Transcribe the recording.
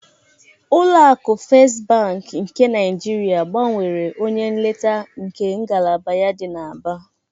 Ụlọ akụ Festị Bankị nke Naịjirịa gbanwere onye nleta nke ngalaba ya dị n'Aba.